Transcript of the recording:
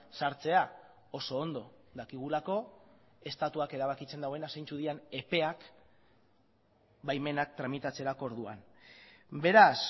sartzea oso ondo dakigulako estatuak erabakitzen duena zeintzuk diren epeak baimenak tramitatzerako orduan beraz